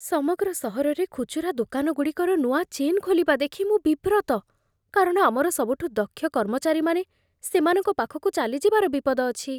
ସମଗ୍ର ସହରରେ ଖୁଚୁରା ଦୋକାନଗୁଡ଼ିକର ନୂଆ ଚେନ୍ ଖୋଲିବା ଦେଖି ମୁଁ ବିବ୍ରତ, କାରଣ ଆମର ସବୁଠୁ ଦକ୍ଷ କର୍ମଚାରୀମାନେ ସେମାନଙ୍କ ପାଖକୁ ଚାଲିଯିବାର ବିପଦ ଅଛି।